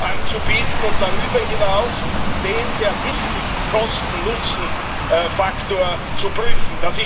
anzubieten und darüber hinaus den sehr wichtigen Kosten Nutzen Faktor zu prüfen.